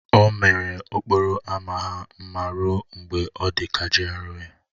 O mere okporo ámá ha mma ruo mgbe ọ dị ka GRA